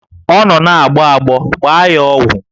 Ọ nọ na-agbọ agbọ, gbaa ya ọgwụ!